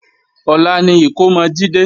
Ọ̀la ni ìkómọ Jídé